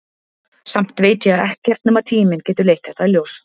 Samt veit ég að ekkert nema tíminn getur leitt þetta í ljós.